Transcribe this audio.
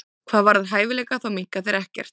Hvað varðar hæfileika þá minnka þeir ekkert.